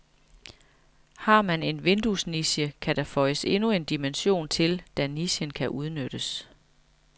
Har man en vinduesniche, kan der føjes endnu en dimension til, da nichen kan udnyttes.